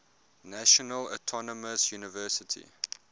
national autonomous university